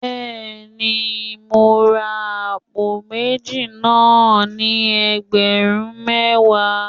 Bẹ́ẹ̀ni, mo ra àpò méjì náà ni ẹgbẹ̀rún mẹ́wàá